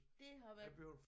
Det har været